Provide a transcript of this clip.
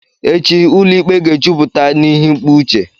Echi ụlọ ikpe ga-ejupụta n'ihi ikpe uche.